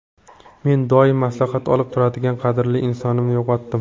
Men doim maslahat olib turadigan qadrli insonimni yo‘qotdim.